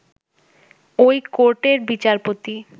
ঐ কোর্টের বিচারপতি